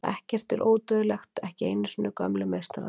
Ekkert er ódauðlegt, ekki einu sinni gömlu meistararnir.